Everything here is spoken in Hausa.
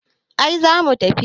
ai za mu tafi